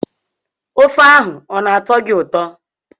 Ofe ahụ ọ na-atọ gị ụtọ?